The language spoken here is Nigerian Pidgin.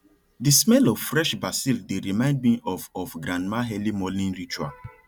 the smell of fresh basil dey remind me of of grandma early morning ritual